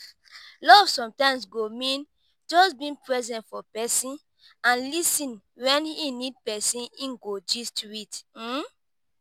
love sometimes go mean just being present for pesin and lis ten when e need pesin e go gist with.